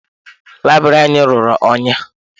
Layibiri a rụrụ ụnyi.